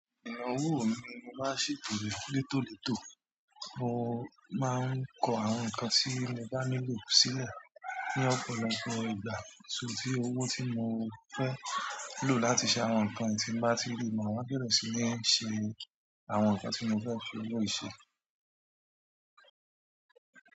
Ẹ̀h owó mi mo máa ń ṣètò rẹ létólètó, mo máa ń kọ àwọn nǹkan tí mo bá nílò sílẹ̀ ní ọ̀pọ̀lọpọ̀ ìgbà. So ti owó tí mo fẹ́ lò láti ṣe àwọn nǹkan tí mo bá tí ri máa wá bẹ̀rẹ̀ sí ní ṣe àwọn nǹkan tí mo fẹ́ fi owó yìí ṣe.